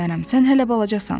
Sən hələ balacasan.